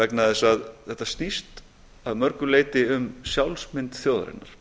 vegna þess að þetta snýst að mörgu leyti um sjálfsmynd þjóðarinnar